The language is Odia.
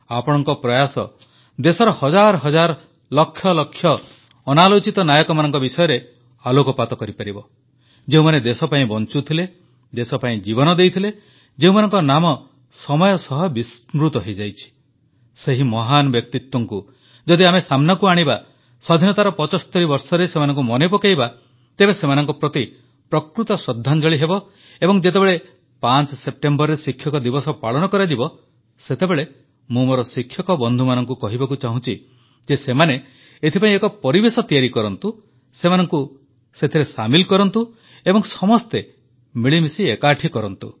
ଆପଣଙ୍କ ପ୍ରୟାସ ଦେଶର ହଜାର ହଜାର ଲକ୍ଷ ଲକ୍ଷ ଅନାଲୋଚିତ ନାୟକମାନଙ୍କ ବିଷୟରେ ଆଲୋକପାତ କରିପାରିବ ଯେଉଁମାନେ ଦେଶପାଇଁ ବଂଚୁଥିଲେ ଦେଶପାଇଁ ଜୀବନ ଦେଇଥିଲେ ଯେଉଁମାନଙ୍କ ନାମ ସମୟ ସହ ବିସ୍ମୃତ ହୋଇଯାଇଛି ସେହି ମହାନ ବ୍ୟକ୍ତିତ୍ୱଙ୍କୁ ଯଦି ଆମେ ସାମ୍ନାକୁ ଆଣିବା ସ୍ୱାଧୀନତାର 75 ବର୍ଷରେ ସେମାନଙ୍କୁ ମନେପକାଇବା ତେବେ ସେମାନଙ୍କ ପ୍ରତି ପ୍ରକୃତ ଶ୍ରଦ୍ଧାଞ୍ଜଳି ହେବ ଏବଂ ଯେତେବେଳେ 5 ସେପ୍ଟେମ୍ବରରେ ଶିକ୍ଷକ ଦିବସ ପାଳନ କରାଯିବ ସେତେବେଳେ ମୁଁ ମୋର ଶିକ୍ଷକ ବନ୍ଧୁମାନଙ୍କୁ କହିବାକୁ ଚାହୁଁଛି ଯେ ସେମାନେ ଏଥିପାଇଁ ଏକ ପରିବେଶ ତିଆରି କରନ୍ତୁ ସମସ୍ତଙ୍କୁ ସେଥିରେ ସାମିଲ୍ କରନ୍ତୁ ଏବଂ ସମସ୍ତେ ମିଳିମିଶି ଏକାଠି କରନ୍ତୁ